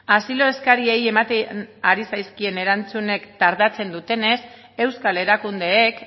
asiloa eskaerei ematen ari zaizkien erantzunak tardatzen dutenez euskal erakundeek